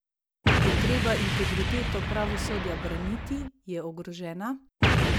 Je treba integriteto pravosodja braniti, je ogrožena?